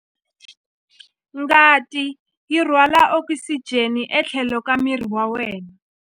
Ngati yi rhwala okisijeni etlhelo ka miri wa wena.